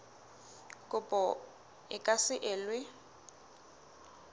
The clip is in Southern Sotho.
kopo e ka se elwe